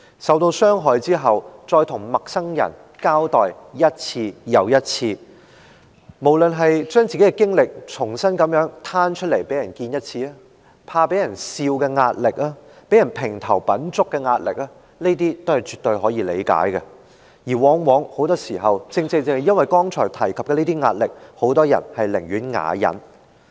受到傷害後，再向陌生人一次又一次地交代事件，那些來自把自己的經歷重新攤出來讓人知道的壓力，怕被嘲笑的壓力，被評頭品足的壓力，是絕對可以理解的，而往往因為我剛才提及的這些壓力，很多人寧願啞忍。